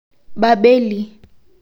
Babeli